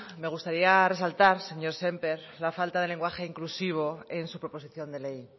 me gustaría resaltar señor sémper la falta de lenguaje inclusivo en su proposición de ley